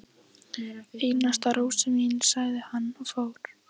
Einasta rósin mín, sagði hann og fór.